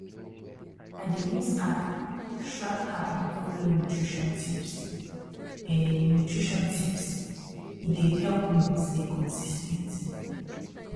i dey use app track how i dey follow nutrition tipse nutrition tipse dey help me stay consis ten t